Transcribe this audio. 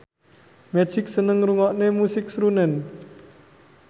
Magic seneng ngrungokne musik srunen